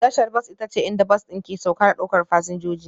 Tashar bas ita ce inda bas ɗin ke sauka da ɗaukar fasinjoji